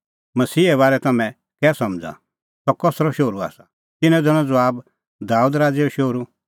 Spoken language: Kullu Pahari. मसीहे बारै तम्हैं कै समझ़ा सह कसरअ शोहरू आसा तिन्नैं दैनअ ज़बाब दाबेद राज़ैओ शोहरू